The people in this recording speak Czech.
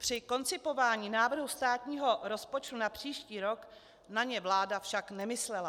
Při koncipování návrhu státního rozpočtu na příští rok na ně vláda však nemyslela.